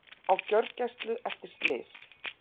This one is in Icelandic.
Á gjörgæslu eftir slys